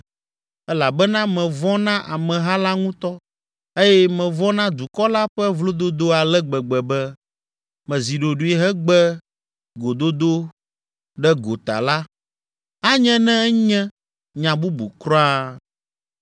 elabena mevɔ̃ na ameha la ŋutɔ eye mevɔ̃ na dukɔ la ƒe vlododo ale gbegbe be, mezi ɖoɖoe hegbe gododo ɖe gota la, anye ne enye nya bubu kura.